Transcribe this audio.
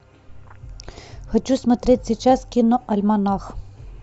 хочу смотреть сейчас киноальманах